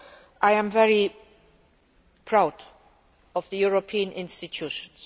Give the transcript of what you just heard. So I am very proud of the European institutions.